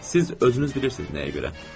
Siz özünüz bilirsiz nəyə görə?